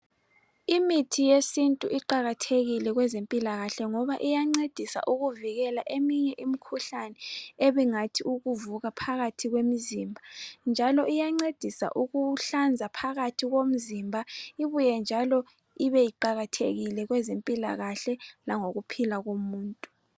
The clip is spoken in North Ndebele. Imithi yesintu iqakathekile kwezempilakahle ngoba iyancedisa ukuvikela eminye imikhuhlane ebingathi ukuvuka phakathi kwemizimba njalo iyancedisa ukuhlanza phakathi komzimba ibuye njalo ibe iqakathekile kwezempilakahle lango kuphila komuntu.